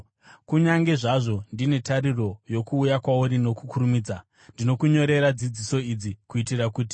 Kunyange zvazvo ndine tariro yokuuya kwauri nokukurumidza, ndinokunyorera dzidziso idzi kuitira kuti,